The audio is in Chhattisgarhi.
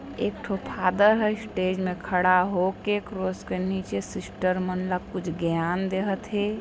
एक ठो फादर ह स्टेज मे खड़ा होके क्रॉस के नीचे सिस्टर मनला कुछ ज्ञान देहत हे।